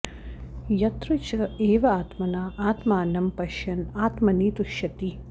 यत्र च एव आत्मना आत्मानम् पश्यन् आत्मनि तुष्यति